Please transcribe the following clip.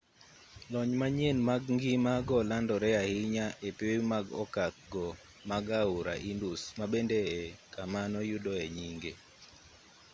lony manyien mag ngima go nolandore ahinya e pewe mag okak go mag aora indus ma bende e kama noyudoe nyinge